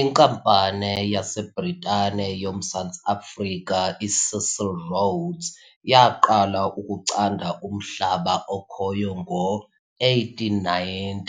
Inkampani yaseBritane yoMzantsi Afrika iCecil Rhodes yaqala ukucanda umhlaba okhoyo ngo-1890